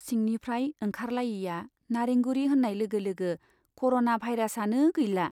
सिंनिफ्राइ ओंखारलायैया नारेंगुरी होन्नाय लोगो लोगो कर'ना भाइरासआनो गैला।